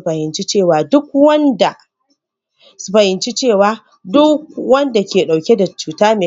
bai amince da amfani dashi ba,?